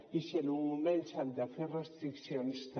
i si en un moment s’han de fer restriccions també